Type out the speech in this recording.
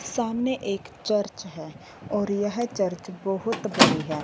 सामने एक चर्च है और यह चर्च बहोत बड़ी है।